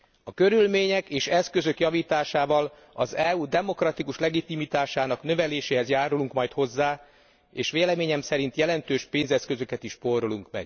A körülmények és eszközök javításával az EU demokratikus legitimitásának növeléséhez járulunk majd hozzá, és véleményem szerint jelentős pénzeszközöket is megspórolunk.